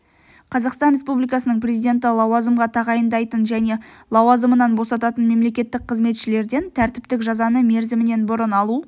қазақстан республикасының президенті лауазымға тағайындайтын және лауазымынан босататын мемлекеттік қызметшілерден тәртіптік жазаны мерзімінен бұрын алу